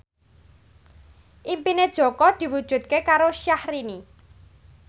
impine Jaka diwujudke karo Syahrini